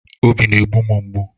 Obi na-egbu m mgbu